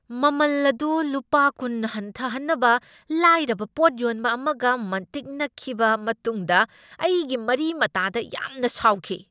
ꯃꯃꯜ ꯑꯗꯨ ꯂꯨꯄꯥ ꯀꯨꯟ ꯍꯟꯊꯍꯟꯅꯕ ꯂꯥꯏꯔꯕ ꯄꯣꯠ ꯌꯣꯟꯕ ꯑꯃꯒ ꯃꯟꯇꯤꯛꯅꯈꯤꯕ ꯃꯇꯨꯡꯗ ꯑꯩꯒꯤ ꯃꯔꯤ ꯃꯇꯥꯗ ꯌꯥꯝꯅ ꯁꯥꯎꯈꯤ꯫